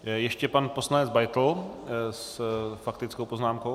Ještě pan poslanec Beitl s faktickou poznámkou.